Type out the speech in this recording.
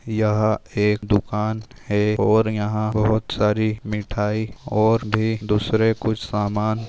यह एक दुकान है और यहा बहुत सारी मिठाई ओर भी दूसरे कुछ समान --